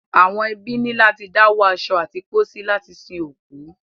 Àwọn ẹbí ní láti dáwó aṣọ àti pósí láti sin òkú.